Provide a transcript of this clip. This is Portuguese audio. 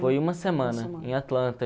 Foi uma semana, em Atlanta.